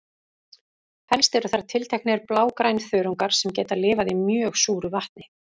Helst eru þar tilteknir blágrænþörungar sem geta lifað í mjög súru vatni.